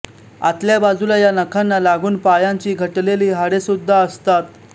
आतल्या बाजूला या नखांना लागून पायांची घटलेली हाडेसुद्धा असतात